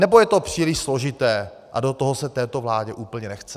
Nebo je to příliš složité a do toho se této vládě úplně nechce?